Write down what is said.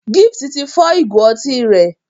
Gift tí fọ Ìgò otí rẹ.